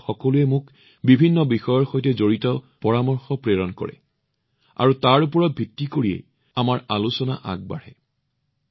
আপোনালোক সকলোৱে মোক বিভিন্ন বিষয়ৰ সৈতে সম্পৰ্কিত গুৰুত্বপূৰ্ণ পৰামৰ্শ প্ৰেৰণ কৰে আৰু তাৰ ওপৰত আধাৰিত কৰি আমাৰ আলোচনা আগবাঢ়ে